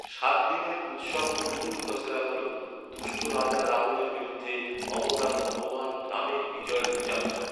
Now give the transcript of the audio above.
সাত দিনের উৎসব কুল্লুর দশেরা হ’ল, দুষ্ট রাজা রাবণের বিরুদ্ধে অবতার ভগবান রামের বিজয়ের উদযাপন।